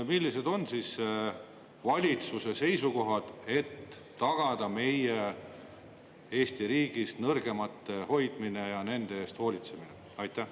Millised on valitsuse seisukohad, et tagada meie Eesti riigis nõrgemate hoidmine ja nende eest hoolitsemine?